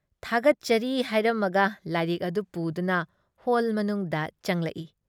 ꯊꯥꯒꯠꯆꯔꯤ ꯍꯥꯏꯔꯝꯃꯒ ꯂꯥꯏꯔꯤꯛ ꯑꯗꯨ ꯄꯨꯗꯨꯅ ꯍꯣꯜ ꯃꯅꯨꯡꯗ ꯆꯪꯂꯛꯏ ꯫